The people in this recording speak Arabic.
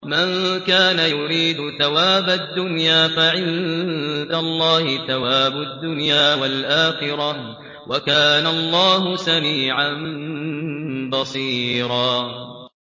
مَّن كَانَ يُرِيدُ ثَوَابَ الدُّنْيَا فَعِندَ اللَّهِ ثَوَابُ الدُّنْيَا وَالْآخِرَةِ ۚ وَكَانَ اللَّهُ سَمِيعًا بَصِيرًا